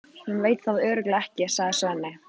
Hún veit það þá örugglega ekki, sagði Svenni.